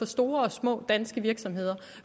store og små danske virksomheder